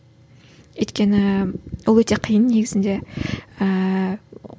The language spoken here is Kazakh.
өйткені ол өте қиын негізінде ііі